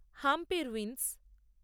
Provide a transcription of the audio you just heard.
Hampi ruins